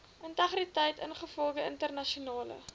integriteit ingevolge internasionale